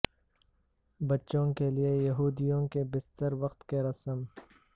بچوں کے لئے یہودیوں کے بستر وقت کی رسم